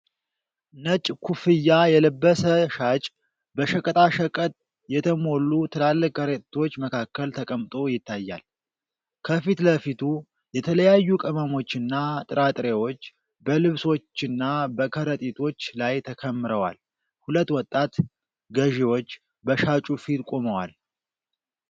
ነጭ ኩፍያ የለበሰ ሻጭ በሸቀጣሸቀጥ የተሞሉ ትላልቅ ከረጢቶች መካከል ተቀምጦ ይታያል። ከፊት ለፊቱ የተለያዩ ቅመሞች እና ጥራጥሬዎች በልብሶችና በከረጢቶች ላይ ተከምረዋል። ሁለት ወጣት ገዢዎች በሻጩ ፊት ቆመዋል።